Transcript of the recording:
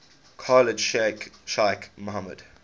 khalid sheikh mohammed